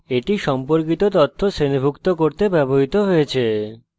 এটি সম্পর্কিত তথ্য শ্রেণীভুক্ত করতে ব্যবহৃত হয়েছে